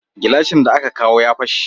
Gilashin da aka kawo ya fashe